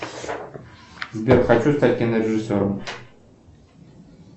сбер хочу стать кинорежиссером